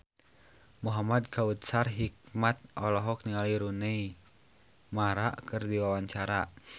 Muhamad Kautsar Hikmat olohok ningali Rooney Mara keur diwawancara